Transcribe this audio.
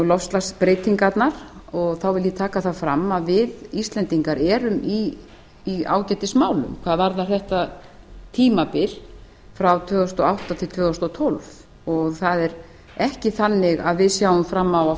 loftslagsbreytingarnar og þá vil ég taka það fram að við íslendingar erum í ágætismálum hvað varðar þetta tímabil frá tvö þúsund og átta til tvö þúsund og tólf og það er ekki þannig að við sjáum fram á að